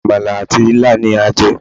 Àmàlà àti ilá ni a jẹ́